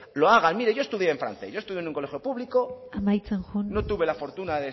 lo hagan mire yo estudié en francés yo estudié en un colegio público amaitzen joan no tuve la fortuna